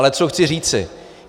Ale co chci říci.